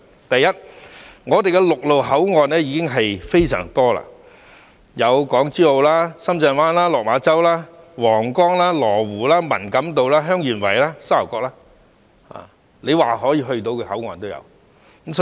第一，我們的陸路口岸已非常多，有港珠澳、深圳灣、落馬洲、皇崗、羅湖、文錦渡、香園圍及沙頭角，說得出的口岸也有。